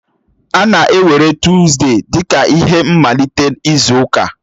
A na-ewere Tọzdee dị ka ihe mmalite izu ụka.